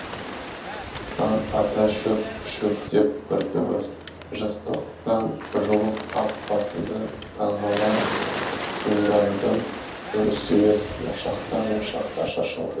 таң ата шөп шөп деп бір дыбыс жастықтан жұлып ап басымды таңғала тындадым үр сүйіс моншақтар моншақтар шашылды